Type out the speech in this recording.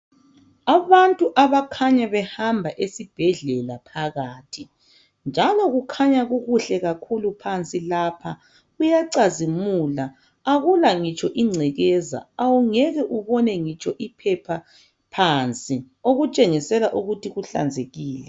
Abantu abakhanya behamba esibhedlela phakathi njalo kukhanya kukuhle kakhulu phansi lapha kuyacazimula, akula ngitsho ingcekeza awungeke ubone ngitsho iphepha phansi okutshengisela ukuthi kuhlanzekile.